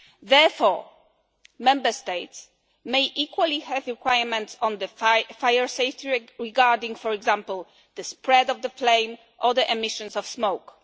Therefore, Member States may equally have requirements on fire safety regarding, for example, the spread of the flame or the emissions of smoke.